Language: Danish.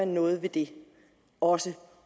noget ved det og